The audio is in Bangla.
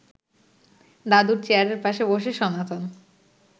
দাদুর চেয়ারের পাশে বসে সনাতন